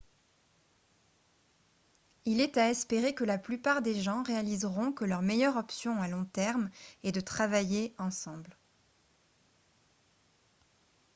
il est à espérer que la plupart des gens réaliseront que leur meilleure option à long terme est de travailler ensemble